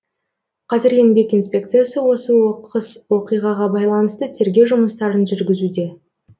қазір еңбек инспекциясы осы оқыс оқиғаға байланысты тергеу жұмыстарын жүргізуде